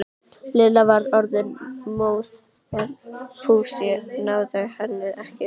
Lilla var orðin móð en Fúsi náði henni ekki.